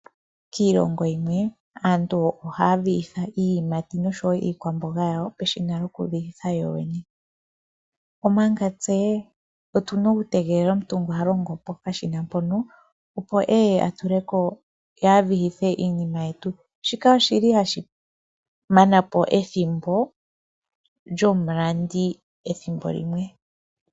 Kiilongo yimwe aantu ohaya vihitha iiyimati noshowo iikwamboga yawo peshina lyokuvihitha yoyene omanga tse otuna okutegelela omuntu ngono halongo pokashina mpono opo eye atuleko ye avihithe iinima yetu. Shika oshili hashi manapo ethimbo lyomulandi ethimbo limwe.